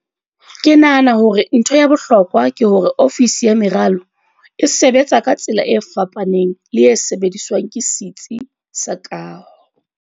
"Ke nahana hore ntho ya bohlokwa ke hore ofisi ya meralo e sebetsa ka tsela e fapaneng le e sebediswang ke setsi sa kaho."